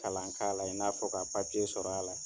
Kalan k'a la i n'a fɔ ka papiye sɔrɔ a la